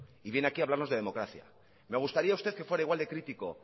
y viene aquí a hablarnos de democracia me gustaría usted que fuera igual de crítico